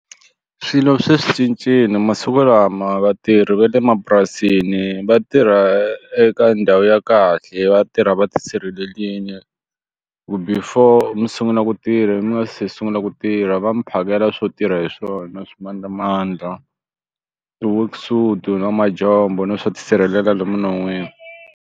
Swilo se swi cincile masiku lama vatirhi va le mapurasini va tirha eka ndhawu ya kahle vatirha va tisirhelelile ku before xo sungula ku tirha mi nga se sungula ku tirha va mi phakela swo tirha hi swona swimandlamandla ti-worksuit na majombo na swo ti sirhelela lomu minon'wini.